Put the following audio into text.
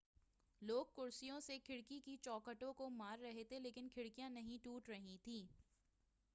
لوگ کرسیوں سے کھڑکی کے چوکھٹوں کو مار رہے تھے لیکن کھڑکیاں نہیں ٹوٹ رہی تھیں